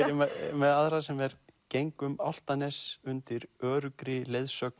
með aðra sem er geng um Álftanes undir öruggri leiðsögn